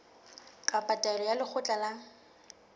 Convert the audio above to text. kapa taelo ya lekgotla la